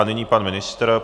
A nyní pan ministr.